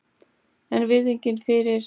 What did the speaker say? En virðingin fyrir